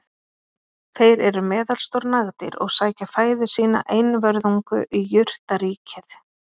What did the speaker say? þeir eru meðalstór nagdýr og sækja fæðu sína einvörðungu í jurtaríkið